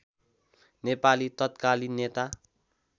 नेपाली तत्कालिन नेता